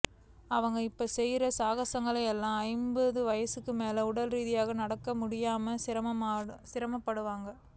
அவங்க இப்ப செய்யுற சாகசங்களுக்கு எல்லாம் ஐம்பது வயசுக்கு மேல உடல் ரீதியா நடக்கக் கூட முடியாம சிரமப்படுவாங்க